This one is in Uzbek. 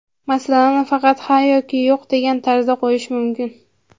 Masalani faqat ha yoki yo‘q degan tarzda qo‘yish mumkin.